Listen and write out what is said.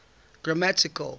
grammatical